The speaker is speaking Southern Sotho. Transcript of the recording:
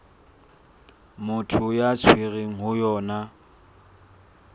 motho a tshwerweng ho yona